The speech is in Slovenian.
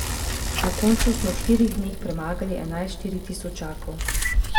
Na koncu smo v štirih dneh premagali enajst štiritisočakov.